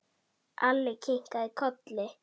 Alli kinkaði kolli.